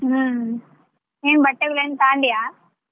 ಹ್ಮ್ ಏನ್ ಬಟ್ಟೆ ತಗೊಂಡ್ಯಾ.